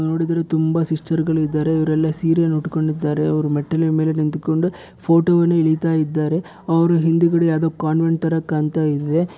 ನೋಡಿದರೆ ತುಂಬಾ ಸಿಸ್ಟರ್ಗ ಳು ಇದ್ದಾರೆ ಇವರೆಲ್ಲಾ ಸೀರಿಯನ್ನು ಉಟ್ಟುಕೊಂಡಿದ್ದಾರೆ ಅವರು ಮೆಟ್ಟಲಿನ ಮೇಲೆ ನಿಂತು ಕೊಂಡು ಫೋಟೋ ಅನ್ನು ಎಳಿತಾ ಇದ್ದಾರೆ ಅವರು ಹಿಂದಗಡೆ ಯಾವುದೊ ಕಾನ್ವೆಂಟ್ ತರ ಕಾಣ್ತಾ ಇದೆ.